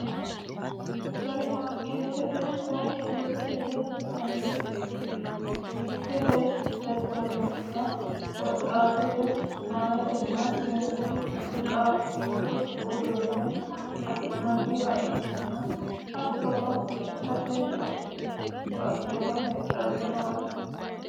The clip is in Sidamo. supermarkeetete woy butukete yinanniti butukete jajjabunna shiimmadu maatenna qaaquullu uduunneno afi'nanniha ikkanna hattono lekkate wodhinanni koatteno heedhannowaati